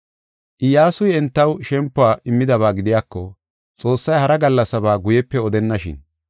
Iyyasuy entaw shempuwa immidaba gidiyako, Xoossay hara gallasaba guyepe odennashin.